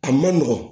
A ma nɔgɔn